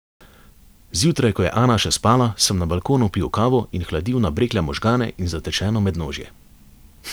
Zjutraj, ko je Ana še spala, sem na balkonu pil kavo in hladil nabrekle možgane in zatečeno mednožje.